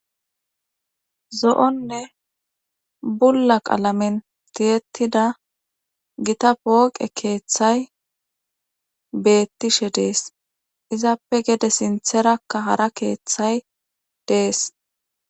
Zo'onne bulla qalamen tiyetida gita pooqe keeththay beetishe de'ees. Izappe gede sintharakka hara keeththay de'ees